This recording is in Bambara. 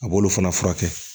A b'olu fana furakɛ